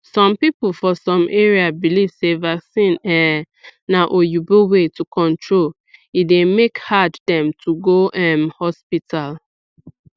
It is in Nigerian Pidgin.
some people for some area believe sey vaccines um na oyibo way to control e dey make hard dem to go um hospital